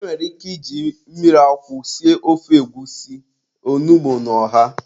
E nwere ike iji mmiri akwụ sie ofe egwusi, onugbu na ọha.